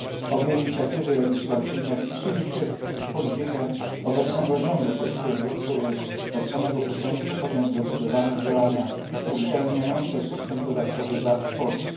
Obie inicjatywy legislacyjne wpisują się w politykę obecnego rządu polskiego, który od samego początku podjął zdecydowane działania uszczelniające system podatkowy VAT w Polsce.